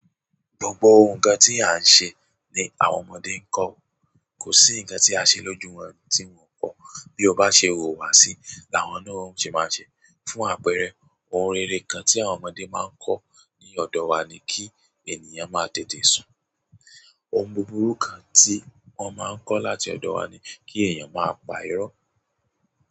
Gbogbo ohun kan tí à ń ṣe ni àwọn ọmọdé ń kọ. Kò sí nǹkan tí a ṣe lójú wọn tí wọn o kọ. Bí o bá ṣe wùwà sí i, làwọn náà ó ṣe máa ṣe. Fún àpẹẹrẹ, ohun rere kan tí àwọn ọmọdé máa ń kọ́ ní ọ̀dọ̀ wa ni kí ènìyàn máa tètè sùn. Ohun búburú kan ti won maa n ko láti odo wa ni ki eeyan maa pa iro.